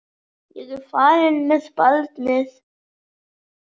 Ég er farin með barnið!